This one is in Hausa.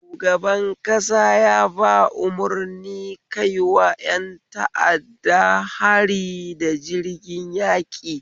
Shugaban ƙasa yaba umarni kaiwa ƴan ta'adda hari da jirgin yaƙi